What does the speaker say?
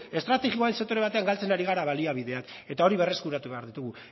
estrategikoa den sektore batean galtzen ari gara baliabideak eta horiek berreskuratu behar ditugu